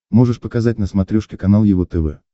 можешь показать на смотрешке канал его тв